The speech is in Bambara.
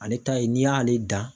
Ale ta ye n'i y'ale dan